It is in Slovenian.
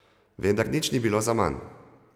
Vendar nič ni bilo zaman.